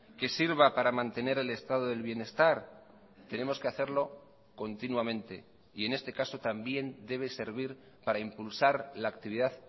que sirva para mantener el estado del bienestar tenemos que hacerlo continuamente y en este caso también debe servir para impulsar la actividad